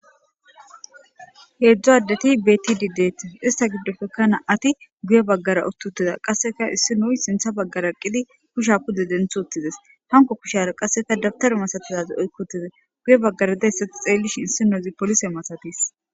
Heedzdzo addeti betidideti ista giddofekana ati guye baggara uttutiza qasseka issi nuy sintha baggara qili kusha kude denth uttides hanko kushara qasseka dabtaru masatazaz oykkotize guye baggara deyssati xeellish issinozi polise masatis.